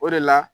O de la